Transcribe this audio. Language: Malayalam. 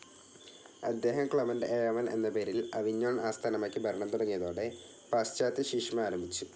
അദ്ദേഹം ക്ലെമന്റ്‌ ഏഴാമൻ എന്ന പേരിൽ അവിഞ്ഞോൺ ആസ്ഥാനമാക്കി ഭരണം തുടങ്ങിയതോടെ പാശ്ചാത്യശീഷ്മ ആരംഭിച്ചു.